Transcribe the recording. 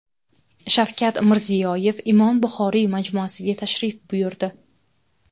Shavkat Mirziyoyev Imom Buxoriy majmuasiga tashrif buyurdi.